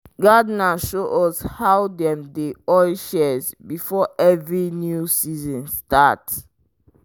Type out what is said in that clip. gardener show us how dem dey oil shears before every new season start.